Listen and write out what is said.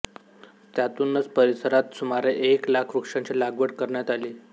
त्यातूनच परिसरात सुमारे एक लाख वृक्षांची लागवड करण्यात आली